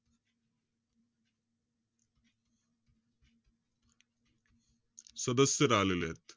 सदस्य राहिलेत.